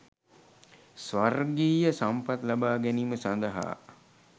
ස්වර්ගීය සම්පත් ලබා ගැනීම සඳහා